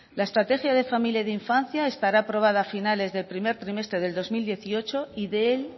la estrategia de familia y de infancia estará aprobada a finales del primer trimestre de dos mil dieciocho